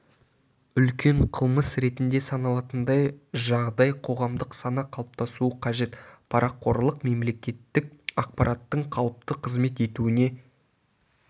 үлкен қылмыс ретінде саналатындай жағдай қоғамдық сана қалыптасуы қажет парақорлық мемлекеттік аппараттың қалыпты қызмет етуіне